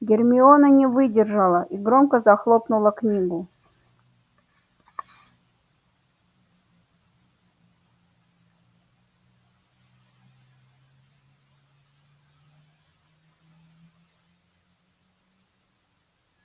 гермиона не выдержала и громко захлопнула книгу